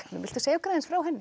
viltu segja okkur aðeins frá henni